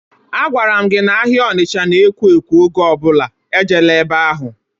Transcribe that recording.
A gwara gị n'ahia Onicha n'ekwo ekwo oge ọbụla, e jeela ebe ahụ!